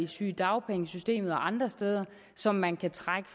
sygedagpengesystemet og andre steder som man kan trække